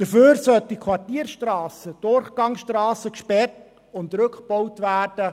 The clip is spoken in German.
Dafür sollen Quartierstrassen, Durchgangsstrassen gesperrt und rückgebaut werden.